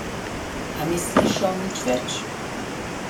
A ni slišal nič več.